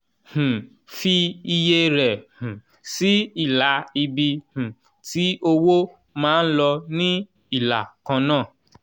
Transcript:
um fi iye rẹ̀ um sí ilà ibi um tí owó máa ń lọ ní ìlà kan náà